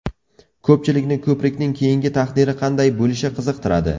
Ko‘pchilikni ko‘prikning keyingi taqdiri qanday bo‘lishi qiziqtiradi.